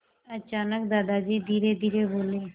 अचानक दादाजी धीरेधीरे बोले